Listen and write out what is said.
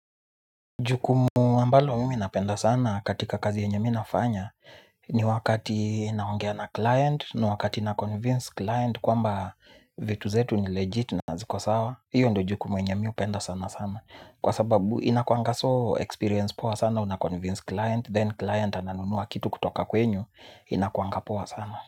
Jukumu ambalo mimi napenda sana katika kazi yenye mi nafanya ni wakati naongea na client, ni wakati naconvince client kwamba vitu zetu ni legit na ziko sawa hiyo ndio jukumu yenye mi hupenda sana sana kwa sababu inakuanga so experience poa sana unaconvince client, then client ananunua kitu kutoka kwenyu inakuanga poa sana.